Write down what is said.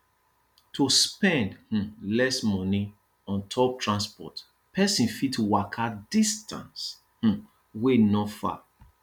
to spend um less money on top transport person fit waka distance um wey no far